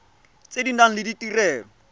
tse di nang le ditirelo